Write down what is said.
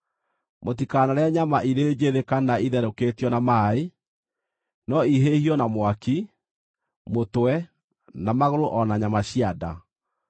Mũtikanarĩe nyama irĩ njĩthĩ kana itherũkĩtio na maaĩ, no ihĩhio na mwaki, mũtwe, na magũrũ o na nyama cia nda.